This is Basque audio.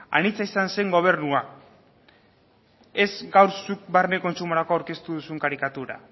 anitza izan zen gobernua ez gaur zuk barne kontsumorako aurkeztu duzun karikatura